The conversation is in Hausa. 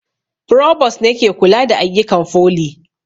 Frovost ne ke kula da ayyukan foli